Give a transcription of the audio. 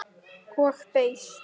Og beið.